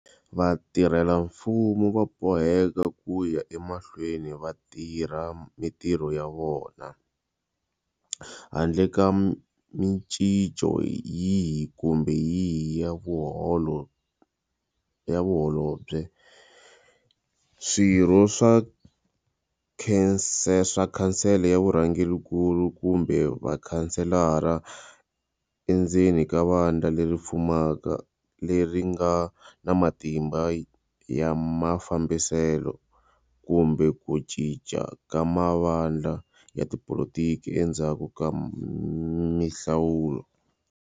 Vatirhela mfumo va boheka ku ya emahlweni va tirha mitirho ya vona handle ka micinco yihi kumbe yihi ya Vaholobye, Swirho swa Khansele ya Vurhangerinkulu kumbe Vakhanselara endzeni ka vandla leri fumaka leri nga na matimba ya mafambiselo, kumbe ku cinca ka mavandla ya tipolitiki endzhaku ka mihlawulo.